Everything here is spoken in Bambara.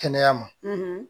Kɛnɛya ma